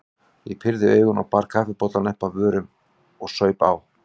Ég pírði augun og bar kaffibollann upp að vörunum og saup á.